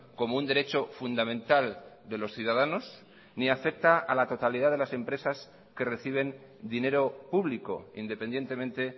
como un derecho fundamental de los ciudadanos ni acepta a la totalidad de las empresas que reciben dinero público independientemente